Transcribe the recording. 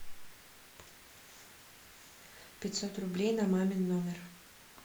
пятьсот рублей на мамин номер